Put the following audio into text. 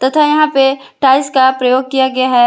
तथा यहां पे टाइल्स का प्रयोग किया गया है।